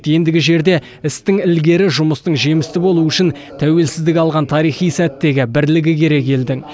ендігі жерде істің ілгері жұмыстың жемісті болуы үшін тәуелсіздік алған тарихи сәттегі бірлігі керек елдің